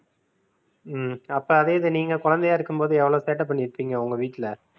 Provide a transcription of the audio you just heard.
ஹம் அப்ப அதேதான் நீங்க குழந்தையா இருக்கும் போது எவ்வளவு சேட்டை பண்ணியிருப்பீங்க உங்க வீட்ல